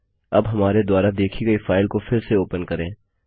अब हमारे द्वारा देखी गई फाइल को फिर से ओपन करें